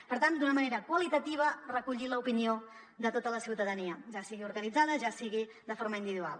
per tant d’una manera qualitativa recollir l’opinió de tota la ciutadania ja sigui organitzada ja sigui de forma individual